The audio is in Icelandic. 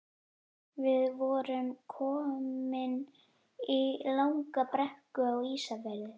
Við vorum komin í langa brekku Á Ísafirði.